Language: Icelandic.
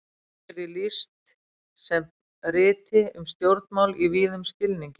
Kannski er því best lýst sem riti um stjórnmál í víðum skilningi.